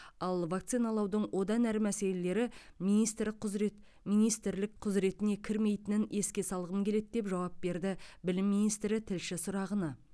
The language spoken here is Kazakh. ал вакциналаудың одан әрі мәселелері министрік құзырет министрлік құзыретіне кірмейтінін еске салғым келеді деп жауап берді білім министрі тілші сұрағына